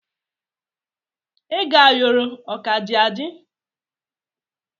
Ego ayoro o ka dị adị.